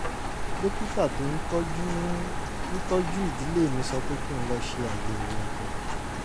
dókítà tó ń tọ́jú ń tọ́jú ìdílé mi sọ pé kí n lọ ṣe àyẹ̀wò ẹ̀jẹ̀